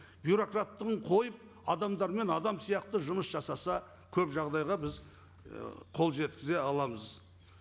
бюрократтығын қойып адамдармен адам сияқты жұмыс жасаса көп жағдайға біз і қол жеткізе аламыз